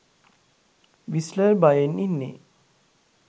Whistler බයෙන් ඉන්නෙ.